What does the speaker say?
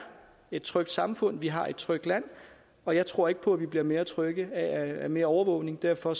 et trygt samfund vi har et trygt land og jeg tror ikke på at vi bliver mere trygge af mere overvågning derfor